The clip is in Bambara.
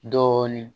Dɔɔnin